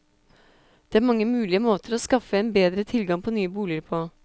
Det er mange mulige måter å skaffe en bedre tilgang på nye boliger på.